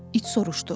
İt soruşdu.